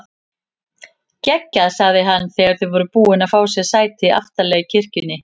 Geggjað sagði hann þegar þau voru búin að fá sér sæti aftarlega í kirkjunni.